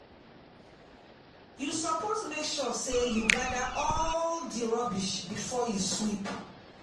You suppose make sure sey you gather all di rubbish before you sweep.